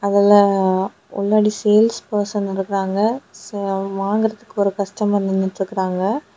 இதுல உள்ளாடி sales person இருக்காங்க. சோ வாங்கறதுக்கு ஒரு கஸ்டமர் நின்னுட்டு இருக்காங்க.